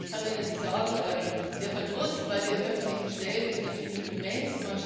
Und ich kann Ihnen sagen, der Verdruss bei den öffentlichen Stellen ist natürlich immens.